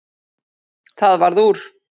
Það varð úr.